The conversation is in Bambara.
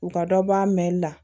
U ka dɔ bɔ a mɛli la